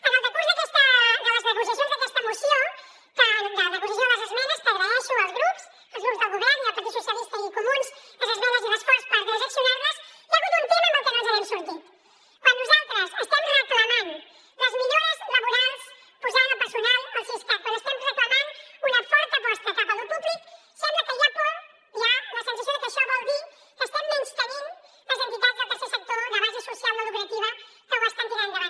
en el decurs de les negociacions d’aquesta moció de negociació de les esmenes que agraeixo als grups del govern i al partit socialistes i als comuns les esmenes i l’esforç per transaccionar les hi ha hagut un tema en el que no ens n’hem sortit quan nosaltres estem reclamant les millores laborals posant el personal al siscat quan estem reclamant una forta aposta cap a lo públic sembla que hi ha por hi ha la sensació de que això vol dir que estem menystenint les entitats del tercer sector de base social no lucrativa que ho estan tirant endavant